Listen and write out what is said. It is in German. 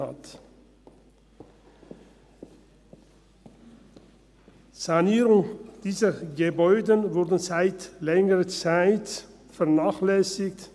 Die Sanierung dieser Gebäude wurde seit längerer Zeit vernachlässigt.